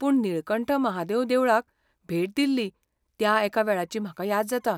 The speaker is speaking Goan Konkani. पूण नीळकंठ महादेव देवळाक भेट दिल्ली त्या एका वेळाची म्हाका याद जाता.